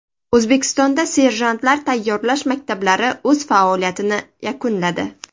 O‘zbekistonda serjantlar tayyorlash maktablari o‘z faoliyatini yakunladi.